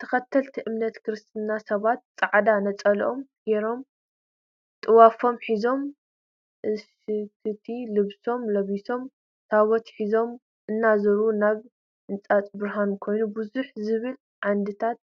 ተከትልቲ እምነት ክርስትና ስባት ፃዕዳ ንፀለኦም ገሮም ጥዋፎም ሒዞም እቅሽቲ ልብሶም ልቢሶም ታቦት ሒዞም እና ዘሩ እቲ ሕንፃ ብርሃን ኮይኑ ብዝሕ ዝብሉ ዓንድታት